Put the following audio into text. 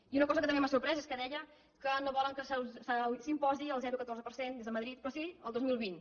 i una cosa que també m’ha sorprès és que deia que no volen que s’imposi el zero coma catorze per cent des de madrid però sí el dos mil vint